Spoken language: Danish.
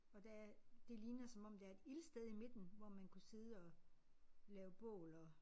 Og der er det ligner som om der er et ildsted i midten hvor man kunne sidde og lave bål og